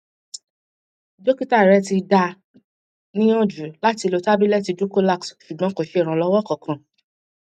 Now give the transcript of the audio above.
dọkítà rẹ ti dá a níyànjú láti lo tábìlẹtì dulcolax ṣùgbọn kò ṣe ìrànlọwọ kankan